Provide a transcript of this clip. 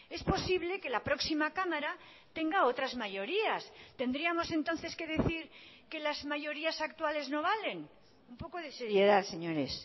es posible que la próxima cámara tenga otras mayorías tendríamos entonces que decir que las mayorías actuales no valen un poco de seriedad señores